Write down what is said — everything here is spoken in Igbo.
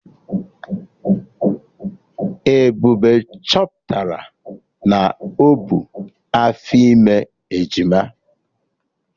Ebube chọpụtara na o bu afọ ime ejima